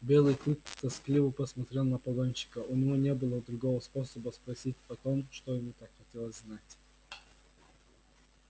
белый клык тоскливо посмотрел на погонщика у него не было другого способа спросить о том что ему так хотелось знать